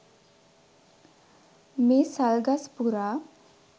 මේ සල් ගස් පුරා